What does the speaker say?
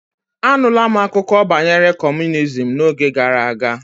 Anula m akụkọ banyere kọmunizm n'oge gara aga